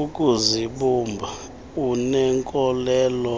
ukuzibumba uneenkolelo